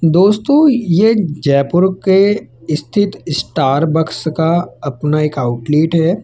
दोस्तों ये जयपुर के स्थित स्टारबक्स का अपना एक आउटलेट है।